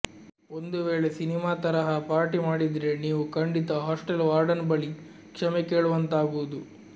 ಒಂದು ವೇಳೆ ಸಿನಿಮಾ ತರಹ ಪಾರ್ಟಿ ಮಾಡಿದ್ರೆ ನೀವು ಖಂಡಿತ ಹಾಸ್ಟೆಲ್ ವಾರ್ಡನ್ ಬಳಿ ಕ್ಷಮೆ ಕೇಳುವಂತಾಗುವುದು